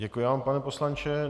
Děkuji vám, pane poslanče.